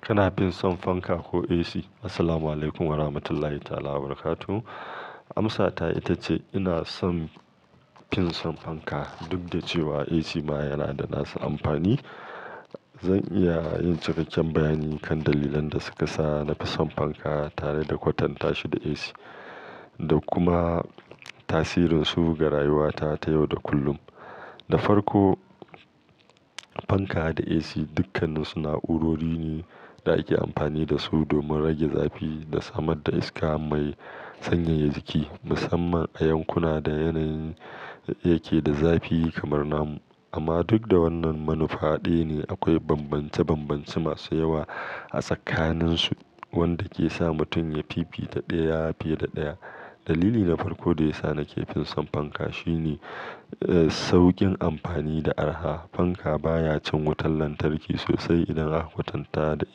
Kana fin son fanka ko AC? Assalamualaikum warahmatullahi ta'ala wabarakatuh. Amsa ta ita ce ina son fin son fanka, duk da cewa AC ma yana da nasu amfani. Zan iya yin cikakken bayanin kan dalilan da suka sa na fi son fanka tare da kwatanta shi da AC, da kuma tasirin su ga rayuwata ta yau da kullum. Na farko, fanka da AC dukkaninsu na'urori ne da ake amfani da su domin rage zafi da samar da iska mai sanyaya jiki, musamman a yankuna da yanayi yake da zafi kamar namu. Amma duk da wannan manufa ɗaya ne, akwai bambance-bambance masu yawa a tsakaninsu wanda ke sa mutum ya fifita ɗaya fiye da ɗaya. Dalili na farko da ya sa na ƙi fin son fanka shine, eh, sauƙin amfani da araha. Fanka baya cin wutar lantarki sosai idan aka kwatanta da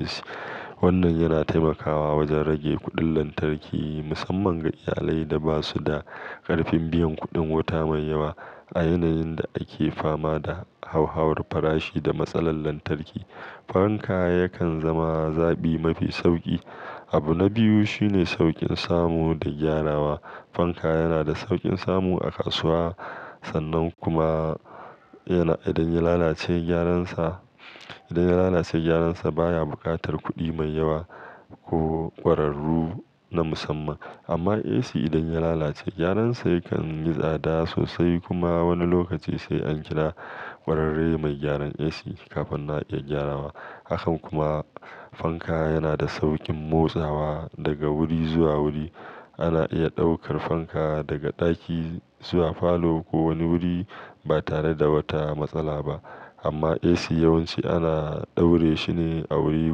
AC. Wannan yana taimakawa wajen rage kuɗin lantarki, musamman ga iyalai da ba su da ƙarfin biyan kuɗin wuta mai yawa. A yanayin da ake fama da hauhawar farashi da matsalar lantarki, fanka yakan zama zabi mafi sauƙi. Abu na biyu shine sauƙin samu da gyarawa. Fanka yana da sauƙin samu a kasuwa, sannan kuma yana, idan ya lalace gyaransa, idan ya lalace gyaransa baya buƙatar kuɗi mai yawa ko ƙwararru na musamman. Amma AC idan ya lalace, gyaransa yakan yi tsada sosai kuma wani lokaci sai an kira ƙwararre mai gyaran AC kafin na iya gyarawa. Haka kuma fanka yana da sauƙin motsawa daga wuri zuwa wuri. Ana iya ɗaukar fanka daga ɗaki zuwa falo ko wani wuri ba tare da wata matsala ba. Amma AC yawanci ana daure shi ne a wuri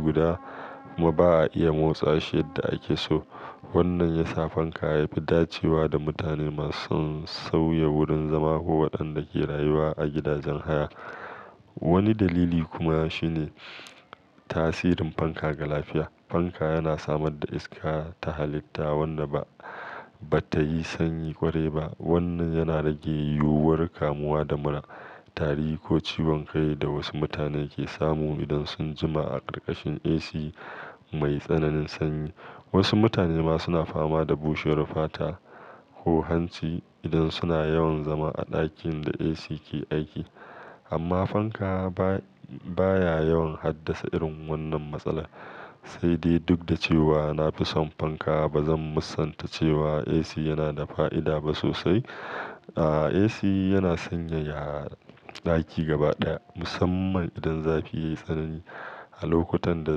guda kuma ba a iya motsa shi yadda ake so. Wannan ya sa fanka ya fi dacewa da mutane masu sauya wurin zama ko waɗanda ke rayuwa a gidajen haya. Wani dalili kuma shine tasirin fanka ga lafiya. Fanka yana samar da iska ta halitta wadda ba, ba ta yi sanyi kwarai ba. Wannan yana rage yiwuwar kamuwa da mura, tari ko ciwon kai da wasu mutane ke samu idan sun jima a ƙarƙashin AC mai tsananin sanyi. Wasu mutane ma suna fama da bushewar fata ko hanci idan suna yawan zama a ɗakin da AC ke aiki. Amma fanka ba, baya yawan haddasa irin wannan matsala. Sai dai duk da cewa na fi son fanka, ba zan musanta cewa AC yana da fa'ida ba sosai. Ah, AC yana sanyaya ɗaki gaba ɗaya, musamman idan zafi ya yi tsanani. A lokutan da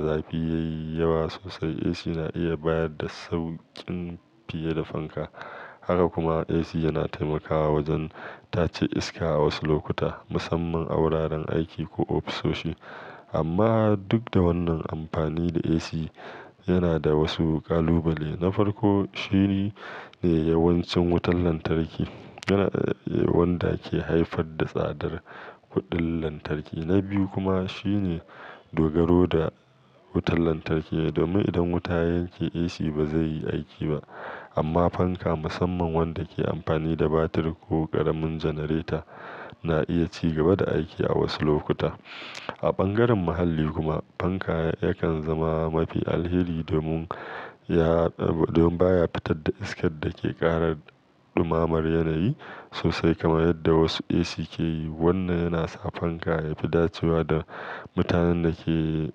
zafi ya yi yawa sosai, AC na iya bayar da sauƙin fiye da fanka. Haka kuma AC yana taimakawa wajen tace iska a wasu lokuta, musamman a wuraren aiki ko ofisoshi. Amma duk da wannan amfani da AC yana da wasu ƙalubale. Na farko shine, shine yawancin wutar lantarki yana, wanda ke haifar da tsadar kuɗin lantarki. Na biyu kuma shine dogaro da wutar lantarki. Domin idan wuta ya yake, AC ba zai yi aiki ba. Amma fanka, musamman wanda ke amfani da batir ko ƙaramin janareta, na iya ci gaba da aiki a wasu lokuta. A bangaren muhalli kuma, fanka yakan zama mafi alheri domin ya, domin baya fitar da iskar da ke ƙara ɗumammar yanayi sosai kamar yadda wasu AC ke yi. Wannan yana sa fanka ya fi dacewa da mutanen da ke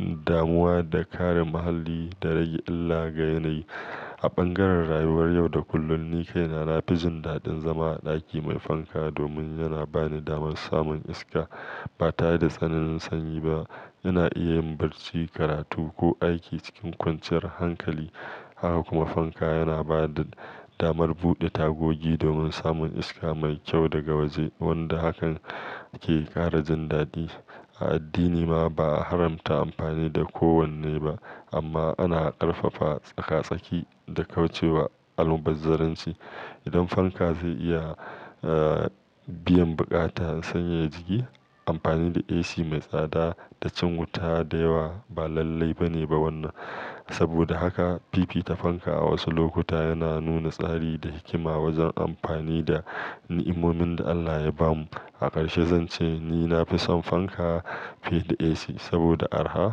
damuwa da kare muhalli da rage illa ga yanayi. A bangaren rayuwar yau da kullum, ni kai na na fijin daɗin zama a ɗaki mai fanka domin yana bani damar samun iska ba tare da tsananin sanyi ba. Ina iya yin barci, karatu ko aiki cikin kwanciyar hankali. Haka kuma fanka yana ba da damar buɗe tagogi domin samun iska mai kyau daga waje, wanda hakan ke ƙara jan daɗi. A addini ma, ba a haramta amfani da ko wanne ba, amma ana ƙarfafa tsaka-tsaki da kauce wa almubazzaranci. Idan fanka zai iya, eh, biyan buƙatar sanyaya jiki, amfani da AC mai tsada da cin wuta da yawa ba lallai ba ne ba wannan. Saboda haka fifita fanka a wasu lokuta yana nuna tsari da hikima wajen amfani da ni'imomin da Allah ya bamu. A ƙarshe zan ce ni na fi son fanka fiye da AC saboda araha.